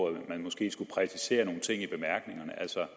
at man måske skulle præcisere nogle ting i bemærkningerne altså